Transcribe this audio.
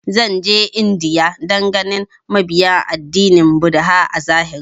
Zan je India dan ganin mabiya addinin buddha a zahiri